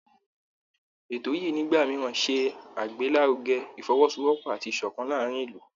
Ètò yìí nígbà mìíràn ṣe àgbélárugẹ Ìfọwọ́sowọ́pọ̀ àti ìṣọ̀kan láàárín ìlú